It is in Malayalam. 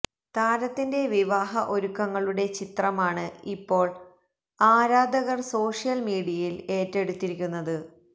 താരത്തിന്റെ വിവാഹ ഒരുക്കങ്ങളുടെ ചിത്രമാണ് ഇപ്പോള് ആരാധകര് സോഷ്യല് മീഡിയയില് ഏറ്റെടുത്തിരിക്കുന്നത്